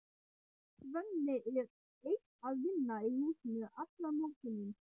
Svenni er einn að vinna í húsinu allan morguninn.